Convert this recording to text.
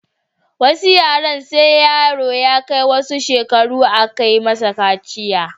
Wasu yaren sai yaro ya kai wasu shekara a ke musu kaciya